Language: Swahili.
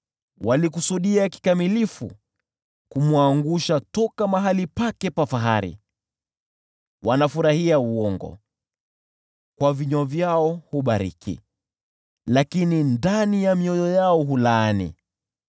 Walikusudia kikamilifu kumwangusha toka mahali pake pa fahari; wanafurahia uongo. Kwa vinywa vyao hubariki, lakini ndani ya mioyo yao hulaani.